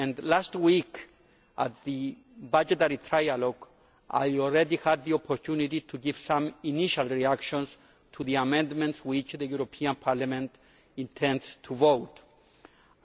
Last week, at the budgetary trialogue, I had the opportunity of giving some initial reactions to the amendments which the European Parliament intends to vote on.